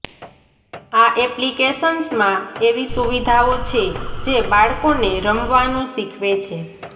આ એપ્લિકેશન્સમાં એવી સુવિધાઓ છે જે બાળકોને રમવાનું શીખવે છે